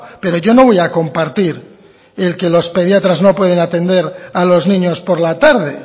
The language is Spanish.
pero yo no voy a compartir el que los pediatras no pueden atender a los niños por la tarde